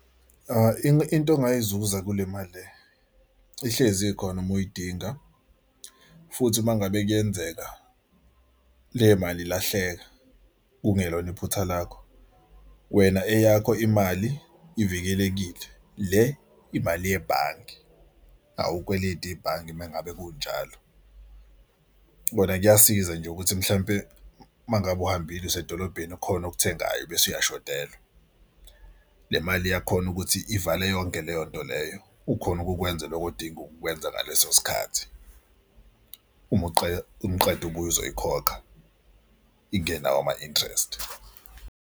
Into ongayizuza kule mali ihlezi khona uma uyidinga futhi uma ngabe kuyenzeka le mali ilahleka kungelona iphutha lakho. Wena eyakho imali ivikelekile le imali yebhange awukweleti ibhange uma ngabe kunjalo. Bona kuyasiza nje ukuthi mhlampe uma ngabe uhambile usedolobheni khona okuthengayo bese uyashodelwa le mali iyakhona ukuthi ivale yonke leyo nto leyo. Ukhone ukukwenza lokho odinga ukwenza ngaleso sikhathi. Uma uma uqeda ubuye uzoyikhokha ingenawo ama-interest.